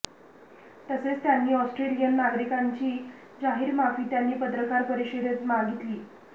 तसेच त्यांनी ऑस्ट्रेलियन नागरिकांची जाहीर माफी त्यांनी पत्रकार परिषदेत मागितली